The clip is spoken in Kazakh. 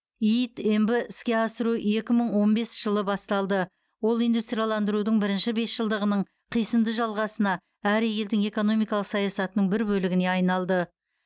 иид мб іске асыру екі мың он бес жылы басталды ол индустрияландырудың бірінші бесжылдығының қисынды жалғасына әрі елдің экономикалық саясатының бір бөлігіне айналды